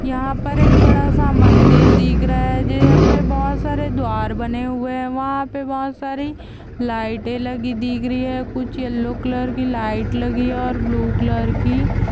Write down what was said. यहा पर एक बड़ा-सा मंदिर दीख रहा है यहा पर बहुत सारे द्वार बने हुए है वहा पे बहुत सारी लाइटे लगी दिख रही है कुछ येल्लो कलर की लाइट लगी हुई है और ब्लू कलर की--